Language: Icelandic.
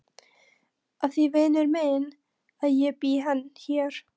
Af því vinur minn að ég bý hér.